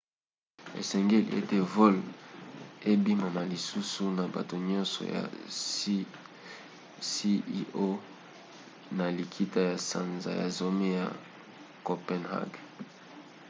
esengeli ete vote endimama lisusu na bato nyonso ya cio na likita ya sanza ya zomi na copenhague